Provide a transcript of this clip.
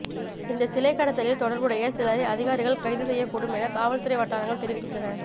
இந்த சிலை கடத்தலில் தொடர்புடைய சிலரை அதிகாரிகள் கைது செய்யக்கூடும் என காவல்துறை வட்டாரங்கள் தெரிவிக்கின்றன